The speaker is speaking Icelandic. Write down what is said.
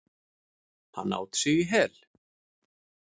Hann át sig í hel.